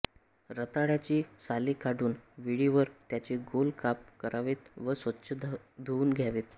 रताळयाची साले काढून विळीवर त्याचे गोल काप करावेत व स्वच्छ धुऊन घ्यावेत